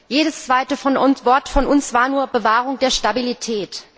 Jedes zweite Wort von uns war nur Bewahrung der Stabilität.